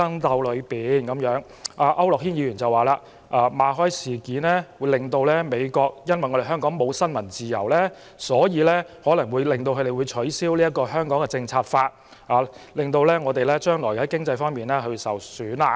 區諾軒議員則指出，馬凱事件後，美國會以為香港失去新聞自由，因而有可能取消《香港政策法》，令香港將來經濟受損。